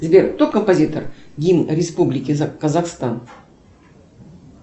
сбер кто композитор гимн республики казахстан